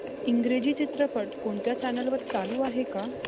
इंग्रजी चित्रपट कोणत्या चॅनल वर चालू आहे का